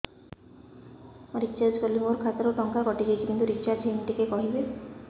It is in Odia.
ମୁ ରିଚାର୍ଜ କରିଲି ମୋର ଖାତା ରୁ ଟଙ୍କା କଟି ଯାଇଛି କିନ୍ତୁ ରିଚାର୍ଜ ହେଇନି ଟିକେ କହିବେ